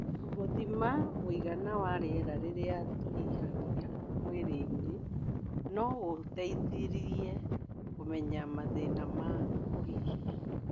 Gũthima mũigana wa rĩera rĩrĩa tũhihagia mwĩrĩ-inĩ no gũgũteithie kũmenya mathĩna ma kũhihia